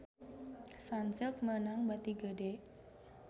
Sunsilk meunang bati gede